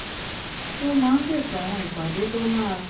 ó máa ń ṣètò àwọn ìpàdé tó máa